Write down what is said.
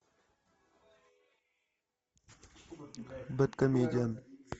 бэдкомедиан